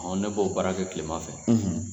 Ne b'o baara kɛ tilema fɛ